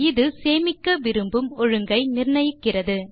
இது நீங்கள் சேமிக்க விரும்பும் ஒழுங்கை நிர்ணயிக்கிறது